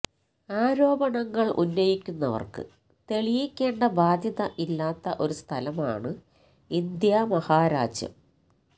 ആരോപണങ്ങൾ ഉന്നയിക്കുന്നവർക്ക് തെളിയിക്കേണ്ട ബാധ്യത ഇല്ലാത്ത ഒരു സ്ഥലമാണ് ഇന്ത്യാ മഹാരാജ്യം